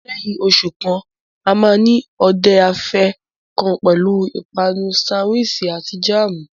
Lẹ́yìn oṣù kan, a máa ní òde afẹ́ kan pẹ̀lú ìpanu sánwiisì àti jáàmù.